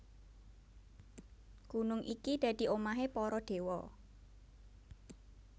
Gunung iki dadi omahé para déwa